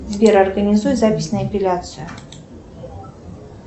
сбер организуй запись на эпиляцию